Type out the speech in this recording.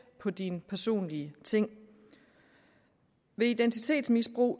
på dine personlige ting ved identitetsmisbrug